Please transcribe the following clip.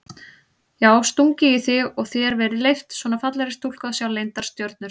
Já stungið í þig og þér verið leyft, svona fallegri stúlku að sjá leyndar stjörnur?